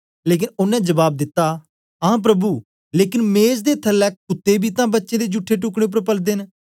लेकन ओनें जबाब दिता हां प्रभु लेकन मेज दे थलै कुत्तें बी तां बच्चें दे जूठे टुकड़ें उपर पलदे न